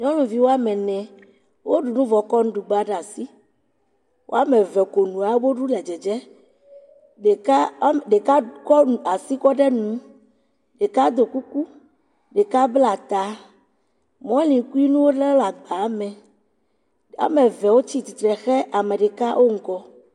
Nyɔnuviwo woame ne wo ɖu nu vɔ kɔ nuɖugba ɖe asi. Woame ve konu wobe ɖu le dzedzem. Ɖekea ɖeka kɔ nu asi kɔ de nu. Ɖeka do kuku. Ɖeka bla ta. ɖeka Mɔlikuinuwo le ɖe agba me. Woame ve wotsi tsitre xe ame ɖeka wo ŋgɔ.